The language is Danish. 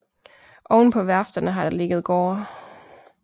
Ovenpå værfterne har der ligget gårde